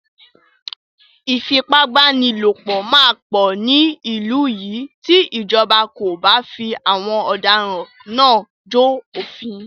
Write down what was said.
Ìfipábánilòpọ̀ máa pọ̀ ní ìlú yìí tí ìjọba kò bá fi àwọn ọ̀daràn náà jó òfin.